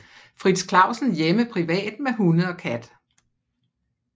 Frits Clausen hjemme privat med hunde og kat